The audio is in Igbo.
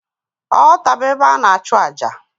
Ọlta bu ébé ana achu ájá.